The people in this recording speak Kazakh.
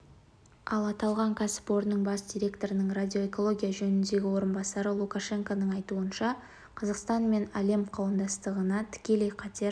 ал аталған кәсіпорынның бас директорының радиоэкология жөніндегі орынбасары лукашенконың айтуынша қазақстан мен әлем қауымдастығына тікелей қатер